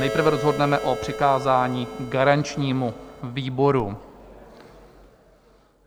Nejprve rozhodneme o přikázání garančnímu výboru.